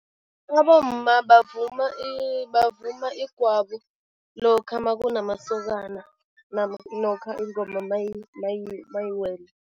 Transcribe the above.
Abomma bavuma bavuma igwabo lokha makunamasokana lokha ingoma mayiwele.